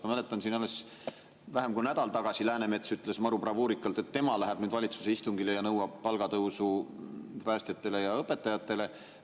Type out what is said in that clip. Ma mäletan, et alles vähem kui nädal tagasi ütles Läänemets maru bravuurikalt, et tema läheb nüüd valitsuse istungile ja nõuab palgatõusu päästjatele ja õpetajatele.